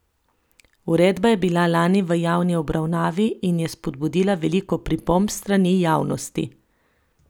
Uredba je bila lani v javni obravnavi in je spodbudila veliko pripomb s strani javnosti.